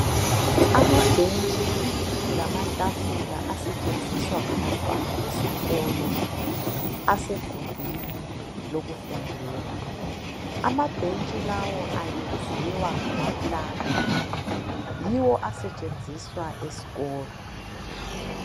Ama bhentshi lamatafula asentshenziswa ngabantwana besikolo asegubhini lokufundela amabhentshi lawa ayenziwa ngamapulanka yiwo asentshenziswa esikolo